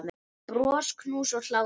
Bros, knús og hlátur.